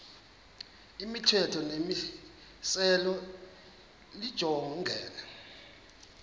imithetho nemimiselo lijongene